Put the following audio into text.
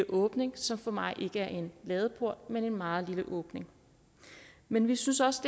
åbning som for mig ikke er en ladeport men en meget lille åbning men vi synes også